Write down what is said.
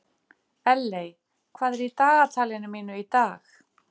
Elley, hvað er í dagatalinu mínu í dag?